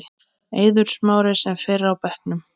Eiður Smári sem fyrr á bekknum